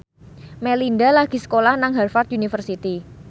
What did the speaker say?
Melinda lagi sekolah nang Harvard university